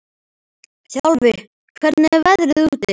Þjálfi, hvernig er veðrið úti?